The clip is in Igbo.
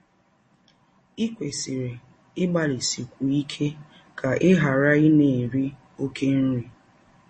Ì kwesịrị ịgbalịsikwu ike ka ị ghara ịna - eri ọké nri?